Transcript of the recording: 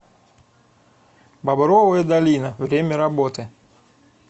бобровая долина время работы